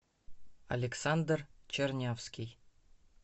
александр чернявский